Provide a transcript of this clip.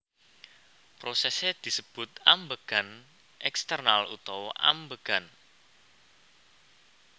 Prosèsé disebut ambegan èksternal utawa ambegan